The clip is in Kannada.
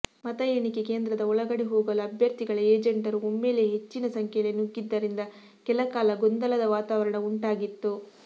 ಮತ ಎಣಿಕೆ ಕೇಂದ್ರದ ಒಳಗಡೆ ಹೋಗಲು ಅಭ್ಯರ್ಥಿಗಳ ಏಜೆಂಟರು ಒಮ್ಮೆಲೇ ಹೆಚ್ಚಿನ ಸಂಖ್ಯೆಯಲ್ಲಿ ನುಗ್ಗಿದ್ದರಿಂದ ಕೆಲಕಾಲ ಗೊಂದಲದ ವಾತಾವರಣ ಉಂಟಾಗಿತ್ತು